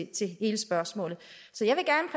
til hele spørgsmålet